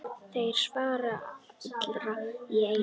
Þeir svara allir í einu.